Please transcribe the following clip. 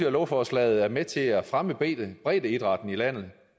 at lovforslaget er med til at fremme breddeidrætten i landet